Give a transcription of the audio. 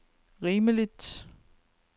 rimeligt